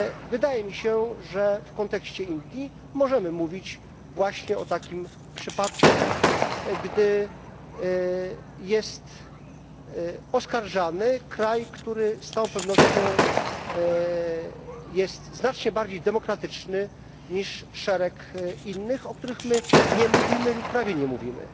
Wydaje mi się, że w kontekście Indii możemy mówić właśnie o takim przypadku, gdy jest oskarżany kraj, który z całą pewnością jest znacznie bardziej demokratyczny niż szereg innych, o których nie mówimy lub prawie nie mówimy.